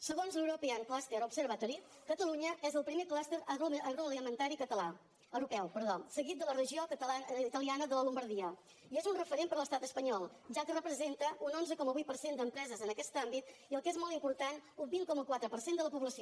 segons l’european cluster observatory catalunya és el primer clúster agroalimentari europeu seguit de la regió italiana de la llombardia i és un referent per a l’estat espanyol ja que representa un onze coma vuit per cent d’empreses en aquest àmbit i el que és molt important un vint coma quatre per cent de la població